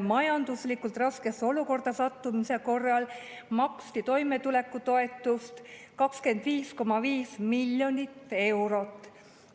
majanduslikult raskesse olukorda sattumise korral maksti toimetulekutoetust 25,5 miljonit eurot.